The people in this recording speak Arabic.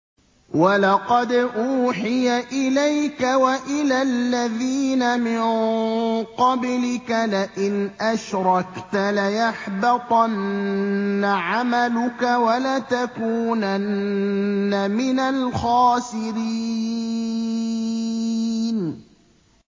وَلَقَدْ أُوحِيَ إِلَيْكَ وَإِلَى الَّذِينَ مِن قَبْلِكَ لَئِنْ أَشْرَكْتَ لَيَحْبَطَنَّ عَمَلُكَ وَلَتَكُونَنَّ مِنَ الْخَاسِرِينَ